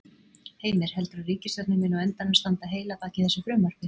Heimir: Heldurðu að ríkisstjórnin muni á endanum standa heil að baki þessu frumvarpi?